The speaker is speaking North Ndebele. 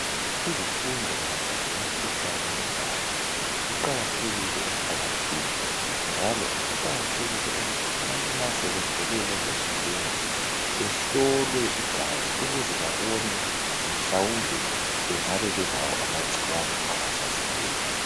Izifundo mayelana lemkhuhlane yegazi ziqakathekile emphakathini njalo kuqakathekile ukuthi abantu ma sebethole